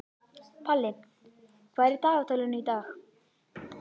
Palli, hvað er í dagatalinu í dag?